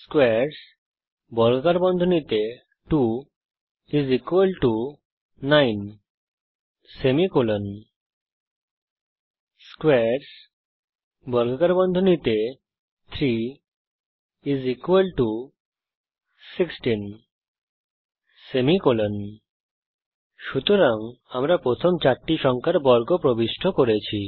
squares2 9 squares3 16 সুতরাং আমরা প্রথম চারটি সংখ্যার বর্গ প্রবিষ্ট করেছি